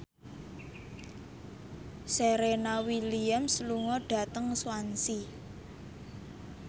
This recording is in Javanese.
Serena Williams lunga dhateng Swansea